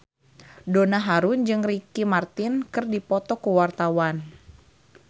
Donna Harun jeung Ricky Martin keur dipoto ku wartawan